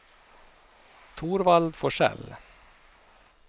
Torvald Forsell